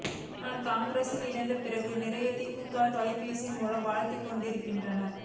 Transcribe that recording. நான் காங்கிரஸில் இணைந்த பிறகு நிறைய திமுகவினர் தொலைபேசி மூலம் வாழ்த்திக் கொண்டிருக்கின்றனர்